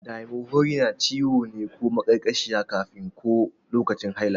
Dysmenorrhea ciwo ne ko maƙarƙashiya kafin ko lokacin haila.